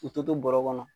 K'u to bɔrɔ kɔnɔ